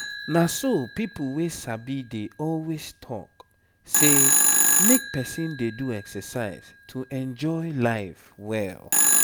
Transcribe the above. na so people wey sabi dey always talk say make person dey do exercise to enjoy life well.